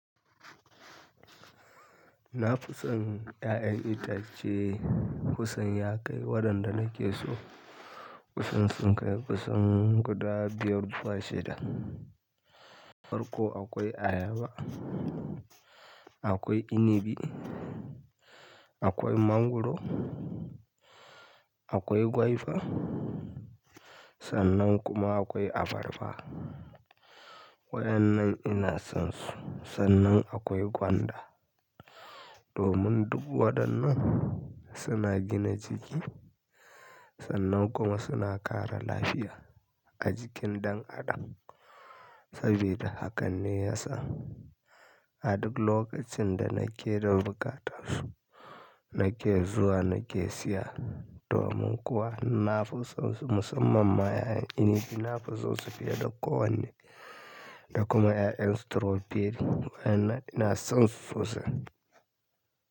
Na fi son 'ya'yan itace kusan ya kai waɗanda nake so. Kusan sun kai kusan guda biyar zuwa shida. Farko akwai ayaba, akwai inibi, akwai mangwaro, akwai gwaiba sannan kuma akwai abarba. Waɗannan ina son su. Sannan akwai gwanda. Domin duk waɗannan suna gina jiki, sannan kuma suna ƙara lafiya a jikin ɗan adam. Sabida haka ne ya sa a duk lokacin da nake da buƙatar su nake zuwa nake siya. Domin kuwa nafi son su musamman ma 'ya 'yan inibi nafi son su fiye da ko wanne da kuma ya yan stroberi waɗannan ina son su sosai.